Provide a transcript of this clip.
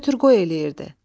Götür-qoy eləyirdi.